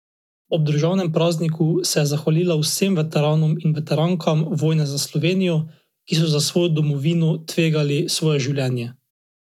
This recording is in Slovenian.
Ob državnem prazniku se je zahvalila vsem veteranom in veterankam vojne za Slovenijo, ki so za svojo domovino tvegali svoje življenje.